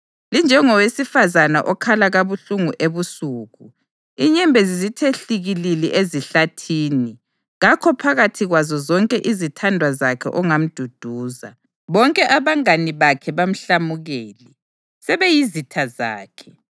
Linjengowesifazane okhala kabuhlungu ebusuku, inyembezi zithe hlikilili ezihlathini. Kakho phakathi kwazo zonke izithandwa zakhe ongamduduza. Bonke abangane bakhe bamhlamukele; sebeyizitha zakhe.